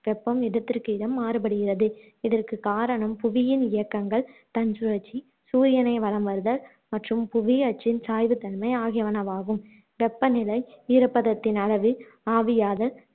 வெப்பம் இடத்திற்கு இடம் மாறுபடுகிறது இதற்கு காரணம் புவியின் இயக்கங்கள், தன்சுழற்சி, சூரியனை வலம் வருதல் மற்றும் புவி அச்சின் சாய்வுத் தன்மை ஆகியனவாகும் வெப்ப நிலை, ஈரப்பதத்தின் அளவு, ஆவியாதல்